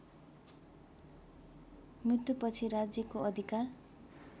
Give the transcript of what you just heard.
मृत्युपछि राज्यको अधिकार